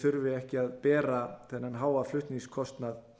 þurfi ekki að bera þennan háa flutningskostnað